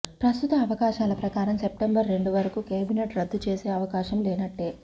ప్రస్తుత అవకాశాల ప్రకారం సెప్టెంబర్ రెండు వరకు కేబినెట్ రద్దు చేసే అవకాశం లేనట్టే